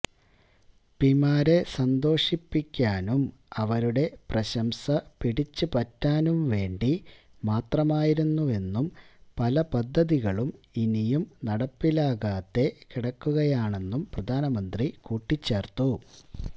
പിമാരെ സന്തോഷിപ്പിക്കാനും അവരുടെ പ്രശംസ പിടിച്ചുപറ്റാനും വേണ്ടി മാത്രമായിരുന്നെന്നും പല പദ്ധതികളും ഇനിയും നടപ്പിലാക്കാതെ കിടക്കുകയാണെന്നും പ്രധാനമന്ത്രി കൂട്ടിച്ചേര്ത്തു